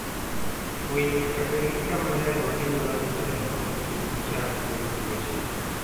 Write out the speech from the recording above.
Winy nyaka bed gi kama ler ma ginyalo nindoe mondo kik gichak yud tuoche.